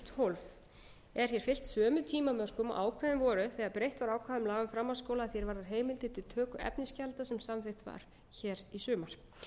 tólf er hér fylgt sömu tímamörkum og ákveðin voru þegar breytt var ákvæðum laga um framhaldsskóla að því er varðar heimildir til töku efnisgjalda sem samþykkt var hér í sumar